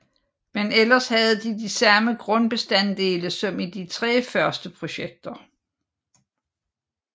Men ellers havde det de samme grundbestanddele som i de tre første projekter